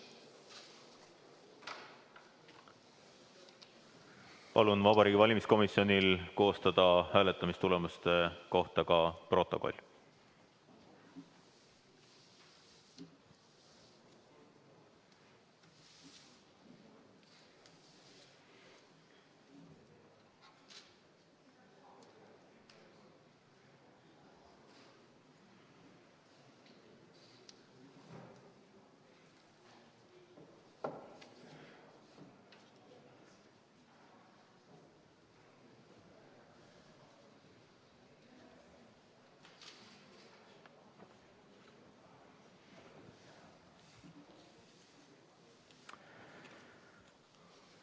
Palun Vabariigi Valimiskomisjonil koostada hääletamistulemuste kohta ka protokoll.